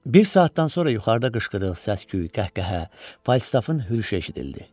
Bir saatdan sonra yuxarıda qışqırıq, səs-küy, qəhqəhə, Falstafın hürüşü eşidildi.